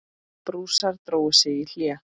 Prússar drógu sig í hlé.